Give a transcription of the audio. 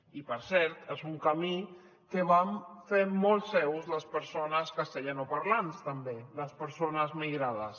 i per cert és un camí que van fer molt seu les persones castellanoparlants també les persones migrades